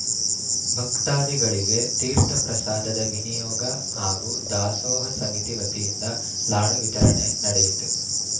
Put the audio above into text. ಭಕ್ತಾದಿಗಳಿಗೆ ತೀರ್ಥಪ್ರಸಾದ ವಿನಿಯೋಗ ಹಾಗೂ ದಾಸೋಹ ಸಮಿತಿ ವತಿಯಿಂದ ಲಾಡು ವಿತರಣೆ ನಡೆಯಿತು